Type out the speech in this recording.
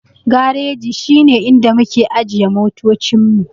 Gareji shi ne inda muke ajiye motoci mu.